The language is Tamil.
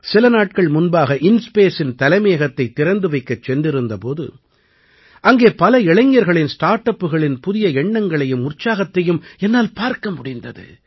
சில நாட்கள் முன்பாக InSpaceஇன் தலைமையகத்தைத் திறந்து வைக்கச் சென்றிருந்த போது அங்கே பல இளைஞர்களின் ஸ்டார்ட் அப்புகளின் புதிய எண்ணங்களையும் உற்சாகத்தையும் என்னால் பார்க்க முடிந்தது